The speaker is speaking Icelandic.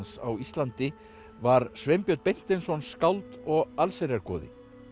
á Íslandi var Sveinbjörn Beinteinsson skáld og allsherjargoði